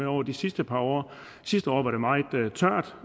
over de sidste par år sidste år var det meget tørt